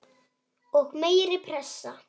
Og meiri pressa?